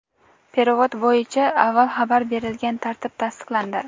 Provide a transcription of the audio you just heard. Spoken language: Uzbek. "perevod" bo‘yicha avval xabar berilgan tartib tasdiqlandi.